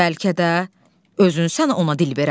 Bəlkə də özün sən ona dil verən.